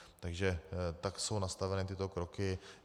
Takže tak jsou nastaveny tyto kroky.